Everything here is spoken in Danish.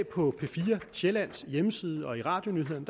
på p fire sjællands hjemmeside og i radionyhederne